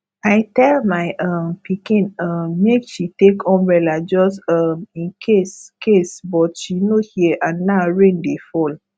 i tell my um pikin um make she take umbrella just um in case case but she no hear and now rain dey fall